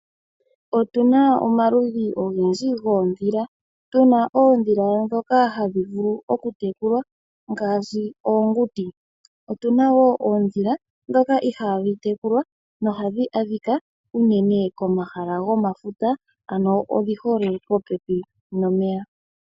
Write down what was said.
Otu na omaludhi ogendji goondhila, tu na oondhila ndhoka hadhi vulu oku tekulwa ngaashi, oonguti. Otu na wo oondhila ndhoka ihaa dhi tekulwa no hadhi adhika unene komahala gomafuta, ano odhi hole popepi nomeya.